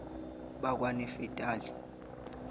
bakwanafetali